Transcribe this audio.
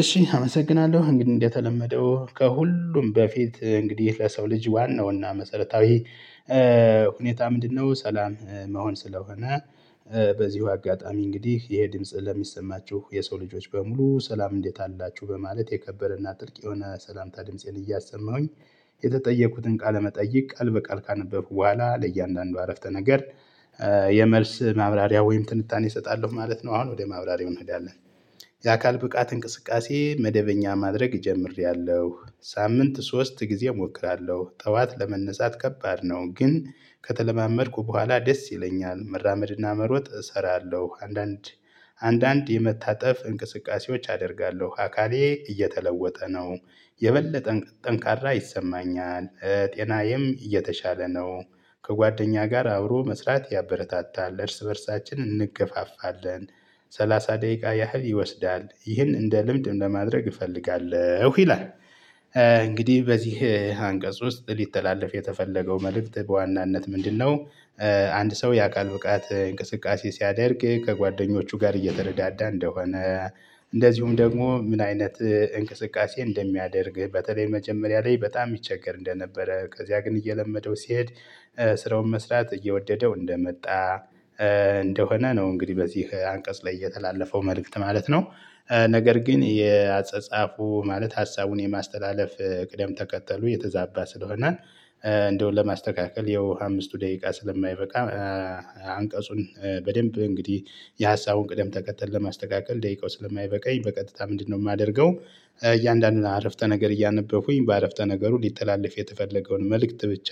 እሺ አመሰግናለሁ እንግዲህ እንደተለመደው ከሁሉም በፊት እንግዲህ ለሰው ልጅ ዋናው እና መሰረታዊ ሁኔታ ምንድነው? ሰላም መሆን ስለሆነ። በዚሁ አጋጣሚ እንግዲህ ይሄ ድምጽ ለሚሰማችሁ የሰው ልጆች በሙሉ ሰላም እንዴት አላችሁ በማለት የከበረና ጥልቅ የሆነ ሰላምታ ድምፄን እያሰማሁኝ። የተጠየቅኩትን ቃለመጠየቅ ቃል በቃል ካነበብኩ በኋላ ለእያንዳንዱ አረፍተ ነገር የመልስ ማብራሪያ ወይም ትንታኔ እሰጣለሁ ማለት ነው። አሁን ወደ ማብራሪያው እንሄዳለን። የአካል ብቃት እንቅስቃሴ መደበኛ ማድረግ ጀምሬያለሁ ሳምንት ሶስት ጊዜ እሞክራለሁ ጠዋት ለመነሳት ከባድ ነው። ግን ከተለማመድኩ በኋላ ደስ ይለኛል መራመድና መሮጥ እሰራለሁ። አንዳንድ አንዳንድ የመታጠፍ እንቅስቃሴዎች አደርጋለሁ። አካሌ እየተለወጠ ነው። የበለጠ ጠንካራ ይሰማኛል ጤናዬም የተሻለ ነው። ከጓደኛ ጋር አብሮ መስራት ያበረታታል እርስ በእርሳችን እንገፋፋለን። ሰላሳ ደቂቃ ያህል ይወስዳል ይህን እንደ ልምድ ለማድረግ እፈልጋለሁ ይላል። እንግዲህ በዚህ አንቀጽ ውስጥ ሊተላለፍ የተፈለገው መልእክት በዋናነት ምንድነው? አንድ ሰው የአካል ብቃት እንቅስቃሴ ሲያደርግ ከጓደኞቹ ጋር እየተረዳዳ እንደሆነ። እንደዚሁም ደግሞ ምን አይነት እንቅስቃሴ እንደሚያደርግ በተለይ መጀመሪያ ላይ በጣም ይቸገር እንደነበረ ከዚያ ግን እየለመደው ሲሄድ ስራውን መስራት እየወደደው እንደመጣ። እንደሆነ ነው እንግዲህ በዚህ አንቀጽ ላይ የተላለፈው መልእክት ማለት ነው። ነገር ግን የአጸጻፉ ማለት ሀሳቡን የማስተላለፍ ቅደም ተከተሉ የተዛባ ስለሆነ። እንደው ለማስተካከል ይኸው አምስቱ ደቂቃ ስለማይበቃ። አንቀጹን በደንብ እንግዲህ የሀሳቡን ቅደም ተከተል ለማስተካከል ደቂቃው ስለማይበቃኝ በቀጥታ ምንድነው የማደርገው? እያንዳንዱን አረፍተ ነገር እያነበቡኝ በአረፍተ ነገሩ ሊተላለፍ የተፈለገውን መልእክት ብቻ